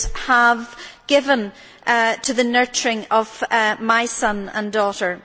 have given to the nurturing of my son and daughter?